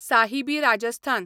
Sahibi Rajasthan